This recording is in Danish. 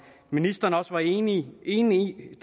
ministeren også var enig enig i